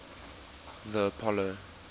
the apollo